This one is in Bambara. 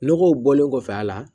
Nɔgɔw bɔlen kɔfɛ a la